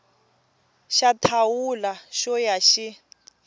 xa thawula xo ya xi